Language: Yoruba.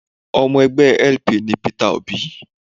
Ọmọ ẹgbẹ́ LP ni Peter Òbí